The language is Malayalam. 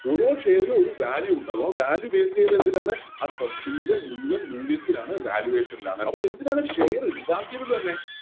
ഓരോ Share ലും ഒരു Value ഇണ്ടാകാം ആ Value base ചെയ്യുന്നതെന്തിലാണ് ആ Company യുടെ മുഴുവൻ മൂല്യത്തിലാണ് Valuation ലാണ് അതും എന്തിനാണ് Share ഇണ്ടാക്കിയത് തന്നെ